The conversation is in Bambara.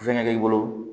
Fɛngɛ k'i bolo